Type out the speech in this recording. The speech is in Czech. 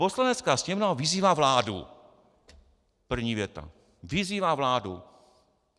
Poslanecká sněmovna vyzývá vládu - první věta - vyzývá vládu.